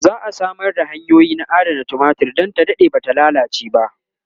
za'a Samar da hanyoyi na adanar tumatir Dan ta Dade Bata lallace ba